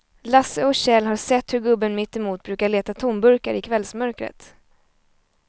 Lasse och Kjell har sett hur gubben mittemot brukar leta tomburkar i kvällsmörkret.